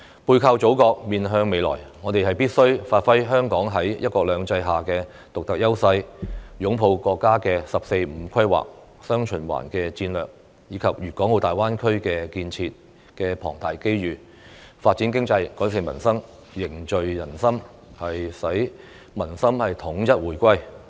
背靠祖國，面向未來，我們必須發揮香港在"一國兩制"下的獨特優勢，擁抱國家"十四五"規劃、"雙循環"戰略，以及粤港澳大灣區建設的龐大機遇，發展經濟，改善民生，凝聚人心，使民心統一回歸。